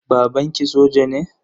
Babanki soja ne?